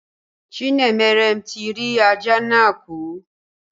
Chinemerem ti rí ajá náà kù.